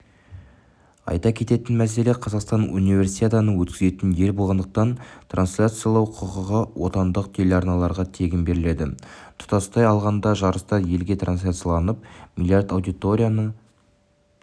айта кететін мәселе қазақстан универсиаданы өткізетін ел болғандықтан трансляциялау құқығы отандық телеарналарға тегін беріледі тұтастай алғанда жарыстар елге трансляцияланып млрд аудиторияны